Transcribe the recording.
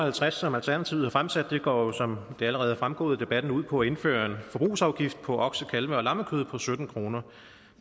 og halvtreds som alternativet har fremsat går jo som det allerede er fremgået af debatten ud på at indføre en forbrugsafgift på okse kalve og lammekød på sytten kroner